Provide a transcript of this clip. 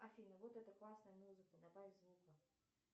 афина вот это классная музыка добавь звука